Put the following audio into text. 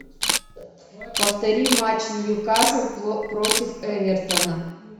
повтори матч ньюкасл против эвертона